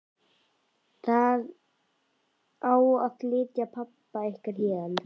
Það á að flytja pabba ykkar héðan.